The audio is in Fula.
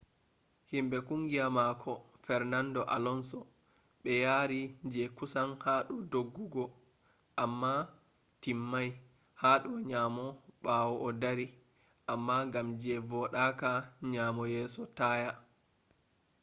himbe kungiya mako fernando alonso be yari je kusan hado doggugo amma timmai hado nyamo bawo o dari amma gam je vodaka nyamo yeso taya